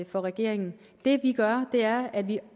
for regeringen det vi gør er at vi